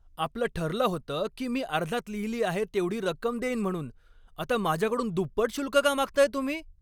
आपलं ठरलं होतं की मी अर्जात लिहिली आहे तेवढी रक्कम देईन म्हणून. आता माझ्याकडून दुप्पट शुल्क का मागताय तुम्ही?